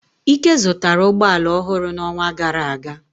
Ike zụtara ụgbọ ala ọhụrụ n'ọnwa gara aga.